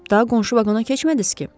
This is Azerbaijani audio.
Daha qonşu vaqona keçmədiz ki?